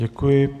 Děkuji.